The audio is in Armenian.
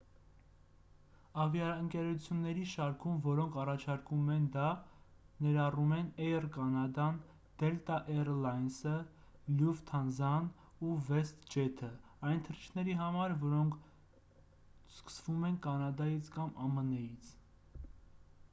ավիաընկերությունների շարքում որոնք առաջարկում են դա ներառում են էյր կանադան դելտա էյր լայնսը լյուֆթանզան ու վեսթջեթը այն թռիչքների համար որոնք սկսվում են կանադայից կամ ամն-ից